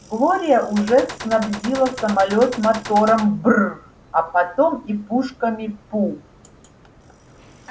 глория уже снабдила самолёт мотором бр а потом и пушками пу